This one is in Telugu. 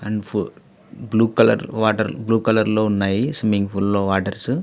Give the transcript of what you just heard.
And blue colour water blue colour లో ఉన్నాయి. స్విమ్మింగ్ పూల్ లో వాటర్స్ .